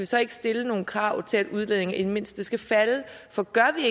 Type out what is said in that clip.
så ikke stille nogle krav til at udledningen i det mindste skal falde for gør vi